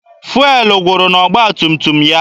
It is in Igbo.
Fụelụ gwụrụ n'ọgba tum tum ya.